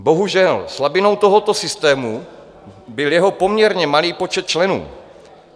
Bohužel, slabinou tohoto systému byl jeho poměrně malý počet členů.